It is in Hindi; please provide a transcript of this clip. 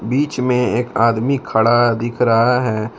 बीच में एक आदमी खड़ा दिख रहा है।